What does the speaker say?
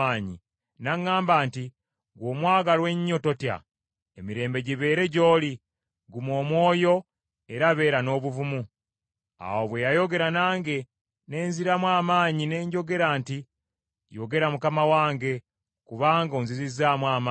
N’aŋŋamba nti, “Ggwe omwagalwa ennyo, totya. Emirembe gibeere gy’oli, guma omwoyo era beera n’obuvumu.” Awo bwe yayogera nange, ne nziramu amaanyi, ne njogera nti, “Yogera mukama wange, kubanga onzizizzaamu amaanyi.”